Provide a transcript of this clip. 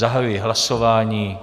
Zahajuji hlasování.